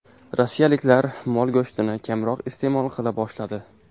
Rossiyaliklar mol go‘shtini kamroq iste’mol qila boshladi.